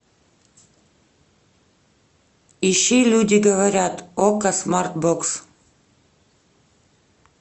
ищи люди говорят окко смарт бокс